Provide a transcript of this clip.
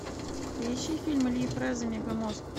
поищи фильм ильи фрэза мегамозг